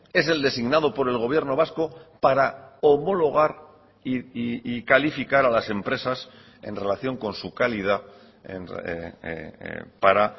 es el designado por el gobierno vasco para homologar y calificar a las empresas en relación con su calidad para